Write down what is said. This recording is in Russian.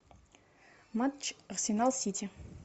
матч арсенал сити